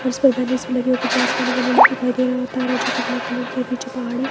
और इसपर बैनर्स भी लगे है कुछ आसमान वो नील दिखाई दे रहा और तार है जोकि ब्लैक कलर की है पीछे पहाड़ है।